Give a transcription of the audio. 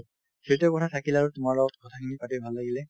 সেইটোয়ে কথা থাকিল আৰু তোমাৰ লগত কথাখিনি পাতি ভাল লাগিলে